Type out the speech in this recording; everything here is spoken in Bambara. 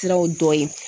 Siraw dɔ ye